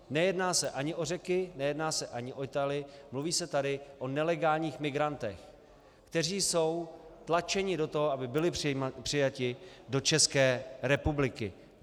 Nejedná se ani o Řeky, nejedná se ani o Italy, mluví se tady o nelegálních migrantech, kteří jsou tlačeni do toho, aby byli přijati do České republiky.